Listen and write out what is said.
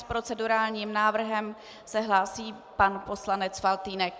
S procedurálním návrhem se hlásí pan poslanec Faltýnek.